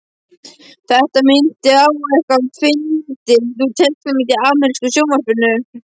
Þetta minnti á eitthvað fyndið úr teiknimynd í ameríska sjónvarpinu.